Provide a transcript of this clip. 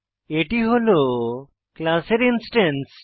এটি হল ক্লাসের ইনস্ট্যান্স